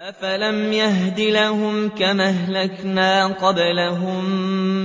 أَفَلَمْ يَهْدِ لَهُمْ كَمْ أَهْلَكْنَا قَبْلَهُم